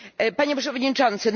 Panie Przewodniczący!